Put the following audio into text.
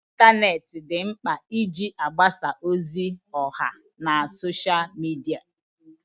ịntanetị di nkpa iji mgbasa ozi ọha na Sọsha midia